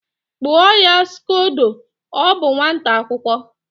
Kpụọ ya Scdodo! ọ bụ nwata akwụkọ